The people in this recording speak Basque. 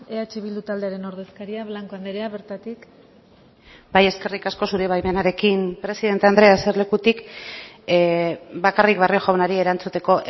eh bildu taldearen ordezkaria blanco andrea bertatik bai eskerrik asko zure baimenarekin presidente andrea eserlekutik bakarrik barrio jaunari erantzuteko